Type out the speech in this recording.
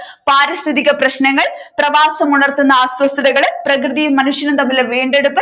പാരിസ്ഥിതിക പ്രശ്നങ്ങൾ പ്രവാസം ഉണർത്തുന്ന അസ്വസ്ഥകൾ പ്രകൃതിയും മനുഷ്യനും തമ്മിലുളള വീണ്ടെടുപ്പ്